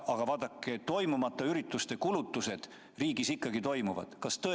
Aga vaadake, toimumata ürituste kulutused riigis.